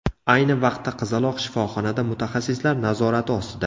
Ayni vaqtda qizaloq shifoxonada mutaxassislar nazorati ostida.